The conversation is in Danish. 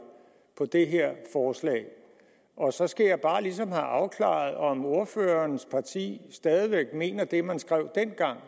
på det her forslag og så skal jeg bare ligesom have afklaret om ordførerens parti stadig væk mener det man skrev dengang